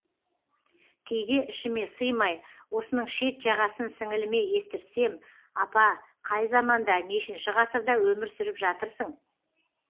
кейде ішіме сыймай осының шет жағасын сіңіліме естіртсем апа қай заманда нешінші ғасырда өмір сүріп жатырсың